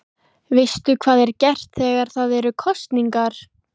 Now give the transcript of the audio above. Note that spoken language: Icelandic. Veistu hvað er gert þegar það eru kosningar?